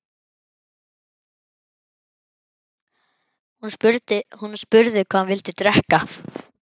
Hún spurði hvað hann vildi drekka.